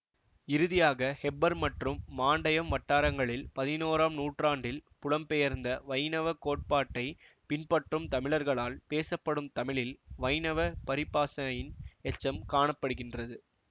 இறுதியாக ஹெப்பர் மற்றும் மாண்டையம் வட்டாரங்களில் பதினோறாம் நூற்றாண்டில் புலம் பெயர்ந்த வைணவ கோட்பாட்டைப் பின்பற்றும் தமிழர்களால் பேசப்படும் தமிழில் வைணவ பரிபாசையின் எச்சம் காண படுகின்றது